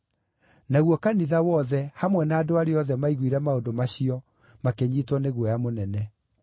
Naguo kanitha wothe, hamwe na andũ arĩa othe maiguire maũndũ macio makĩnyiitwo nĩ guoya mũnene.